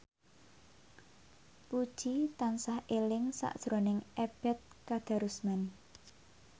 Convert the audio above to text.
Puji tansah eling sakjroning Ebet Kadarusman